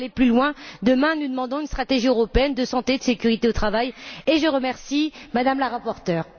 Il faut aller plus loin demain, nous demandons une stratégie européenne de santé et de sécurité au travail et je remercie Mme la rapporteure.